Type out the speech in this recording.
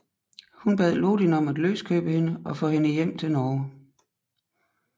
Hun bad Lodin om at løskøbe hende og få hende hjem til Norge